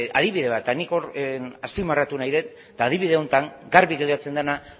eta nik azpimarratu nahi dut eta adibide honetan garbi geratzen dena